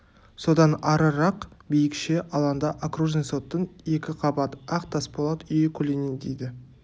содан арырақ биікше алаңда окружный соттың екі қабат ақ тасболат үйі көлденеңдейді